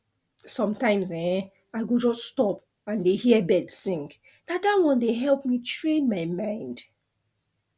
sometimes[um]i go just stop and dey hear birds sing na that one dey help me train my mind